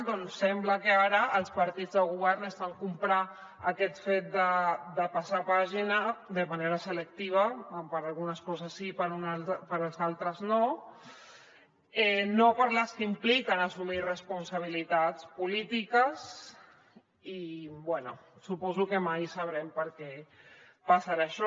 doncs sembla que ara els partits de govern estan comprant aquest fet de passar pàgina de manera selectiva per algunes coses sí i per altres no no per les que impliquen assumir responsabilitats polítiques i bé suposo que mai sabrem per què passa això